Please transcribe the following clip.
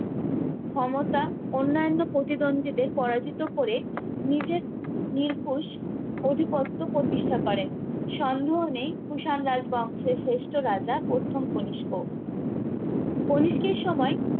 ক্ষমতা অন্যান্য প্রতিদ্বন্দীদের পরাজিত করে নিজের নিরপুশ অধিপত্ব প্রতিষ্ঠা করেন সন্দেহ নেই কুষাণ রাজ বংশের শ্রেষ্ঠ রাজা প্রথম কনিস্ক কণিষ্কের সময়ে